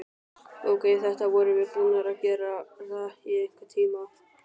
Ókei, þetta vorum við búnar að gera í einhvern tíma.